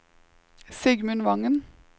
Sigmund Vangen